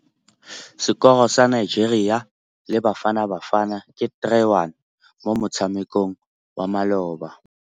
Sekôrô sa Nigeria le Bafanabafana ke 3-1 mo motshamekong wa malôba.